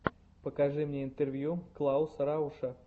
покажи мне интервью клауса рауша